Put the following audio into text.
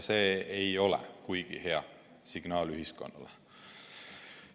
See ei ole kuigi hea signaal ühiskonnale.